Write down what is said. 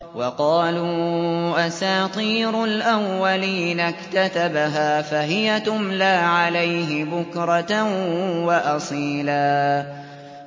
وَقَالُوا أَسَاطِيرُ الْأَوَّلِينَ اكْتَتَبَهَا فَهِيَ تُمْلَىٰ عَلَيْهِ بُكْرَةً وَأَصِيلًا